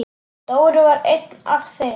Dóri var einn af þeim.